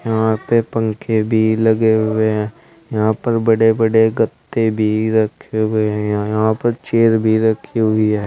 यहां पे पंखे भी लगे हुए हैं यहां पर बड़े बड़े गद्दे भी रखे हुए हैं यहां पर चेयर भी रखी हुई है।